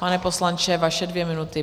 Pane poslanče, vaše dvě minuty.